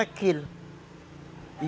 e